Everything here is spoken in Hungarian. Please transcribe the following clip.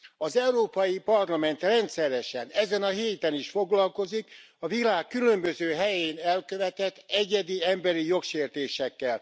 Az Európai Parlament rendszeresen, ezen a héten is foglalkozik a világ különböző helyén elkövetett egyedi emberi jogsértésekkel.